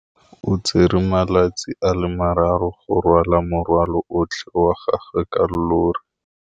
O tsere malatsi a le marraro go rwala morwalo otlhe wa gagwe ka llori.